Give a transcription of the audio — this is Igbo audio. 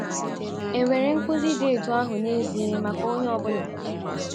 È nwere nkụzi dị otú ahụ n’ezie maka onye ọ bụla?